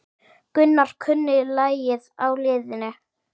Gunnar kunni lagið á liðinu.